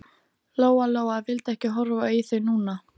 Lóa Lóa vildi ekki horfa í þau núna.